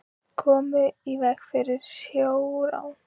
Komu í veg fyrir sjórán